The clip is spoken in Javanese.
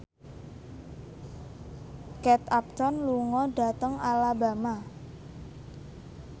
Kate Upton lunga dhateng Alabama